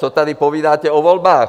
Co tady povídáte o volbách?